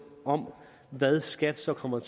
om hvad skat så kommer